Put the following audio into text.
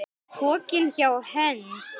Pokinn hjá Hend